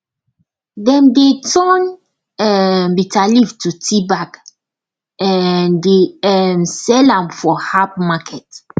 dem dey turn um bitterleaf to tea bag um dey um sell am for herb market